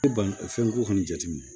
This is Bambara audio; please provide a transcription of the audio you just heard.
banko kɔni jateminɛ